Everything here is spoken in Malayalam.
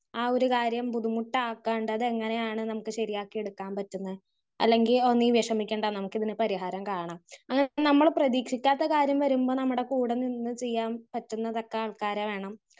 സ്പീക്കർ 1 ആഹ് ഒരു കാര്യം ബുദ്ധിമുട്ടാക്കാണ്ട് അതെങ്ങനെയാണ് നമുക്ക് ശരിയാക്കി എടുക്കാൻ പറ്റും ന്ന് അല്ലെങ്കി ഒന്നെങ്കിൽ വിഷമിക്കണ്ട നമുക്കിതിന് പരിഹാരം കാണാം അങ്ങനെ നമ്മള് പ്രതീക്ഷിക്കാത്ത കാര്യം വരുമ്പോൾ നമ്മുടെ കൂടെ നിന്ന് ചെയ്യാൻ പറ്റുന്ന തക്ക ആൾക്കാരെ വേണം